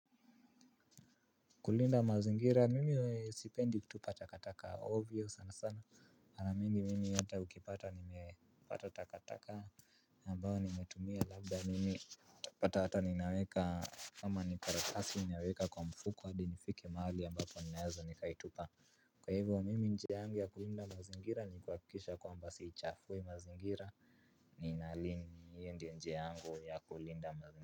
Kulinda mazingira mimi sipendi kutupa takataka ovyo sana sana mara mingi mimi hata ukipata nimepata takataka ambao nimetumia labda mimi pata hata ninaweka. Kama ni karakasi ninaweka kwa mfuku hadi nifikike mahali ambapo ninaweza nikaitupa. Kwa hivyo mimi njia yangu ya kulinda mazingira ni kuhakikisha kwamba siichafui mazingira. Ninalin hiyi ndio njia yangu ya kulinda mazingira.